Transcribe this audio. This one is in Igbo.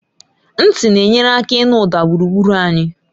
Ntị na-enyere aka ịnụ ụda gburugburu anyị